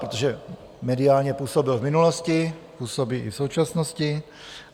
Protože mediálně působil v minulosti, působí i v současnosti?